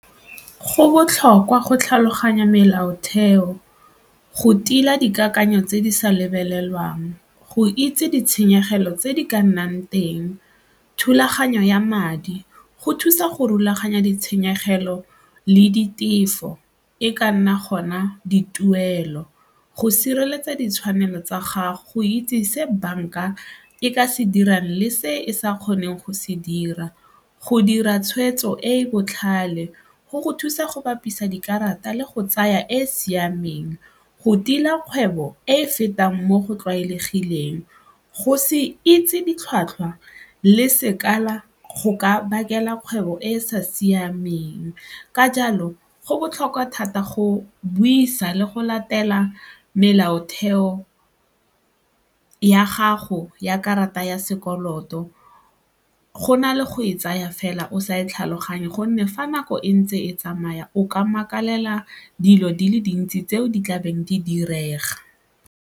Go botlhokwa go tlhaloganya melaotheo, go tila dikakanyo tse di sa lebelelwang, go itse ditshenyegelo tse di ka nnang teng, thulaganyo ya madi, go thusa go rulaganya ditshenyegelo le ditefo e ka nna gona dituelo, go sireletsa ditshwanelo tsa gago itse se banka e ka se dirang le se e sa kgoneng go se dira, go dira tshweetso e e botlhale go go thusa go bapisa dikarata le go tsaya e e siameng. Go tila kgwebo e e fetang mo go tlwaelegileng, go se itse ditlhwatlhwa le sekala go ka bakela kgwebo e e sa siameng ka jalo go botlhokwa thata go buisa le go latela melaotheo ya gago ya karata ya sekoloto go na le go e tsaya fela o sa e tlhaloganye gonne fa nako e ntse e tsamaya o ka makalela dilo di le dintsi tseo di tla beng di direga.